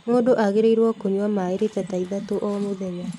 Mũndũ aagĩrĩirwo kũnyua maaĩ rita ta ithatũ o mũthenya